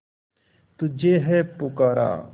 तुझे है पुकारा